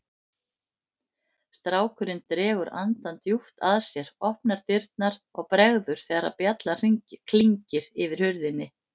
Strákurinn dregur andann djúpt að sér, opnar dyrnar og bregður þegar bjallan klingir yfir hurðinni.